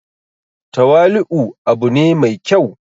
tawali'u u abu ne mai kyau